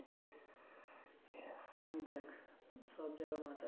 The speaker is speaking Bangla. আমি দেখ সব জায়গায়